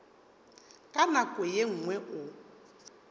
ka nako ye nngwe o